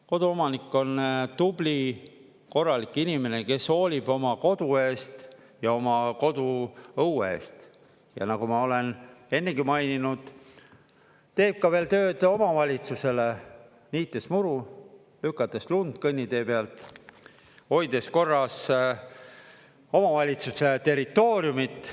Koduomanik on tubli, korralik inimene, kes hoolib oma kodu eest ja oma koduõue eest, ja nagu ma olen ennegi maininud, teeb ka veel tööd omavalitsusele, niites muru, lükates lund kõnnitee pealt, hoides korras omavalitsuste territooriumit.